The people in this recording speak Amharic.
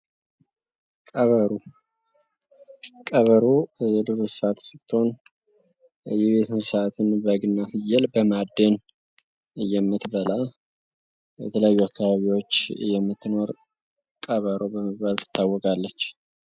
ቀበሮ ቀበሮ የዱር እንስሳት ስትሆን የቤተ እንስሳትን በግና ፍየል በማዳን የምትበላ በተለያዩ አካባቢዎች የምትኖር ቀበሮ በመባል ትታወቃለች።